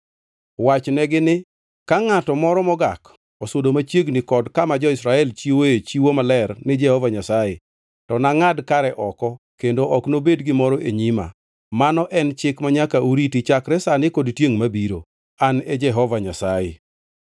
Wachnegi ni: Ka ngʼato moro mogak osudo machiegni kod kama jo-Israel chiwoe chiwo maler ni Jehova Nyasaye, to nangʼad kare oko kendo ok nobed gimoro e nyima. Mano en chik manyaka uriti chakre sani kod tiengʼ mabiro. An e Jehova Nyasaye.